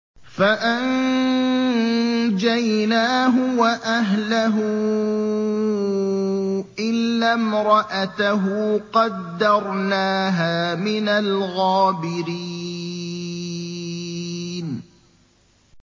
فَأَنجَيْنَاهُ وَأَهْلَهُ إِلَّا امْرَأَتَهُ قَدَّرْنَاهَا مِنَ الْغَابِرِينَ